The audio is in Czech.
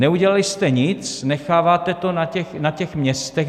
Neudělali jste nic, necháváte to na těch městech.